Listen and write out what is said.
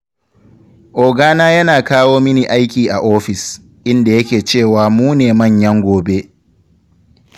Ogana yana kawo mini aiki a ofis, inda yake cewa mu ne manyan gobe.